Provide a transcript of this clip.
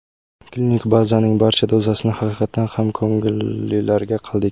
Klinik bazaning barcha dozasini haqiqatan ham ko‘ngillilarga qildik.